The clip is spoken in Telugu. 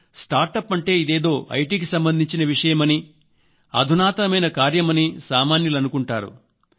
కానీ ఒక్క మాట స్టార్టప్ అంటే ఇదేదో ఐటీకి సంబంధించిన విషయమని అధునాతనమైన కార్యమని సామాన్యులు అనుకుంటారు